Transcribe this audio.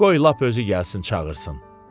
Qoy lap özü gəlsin çağırsın.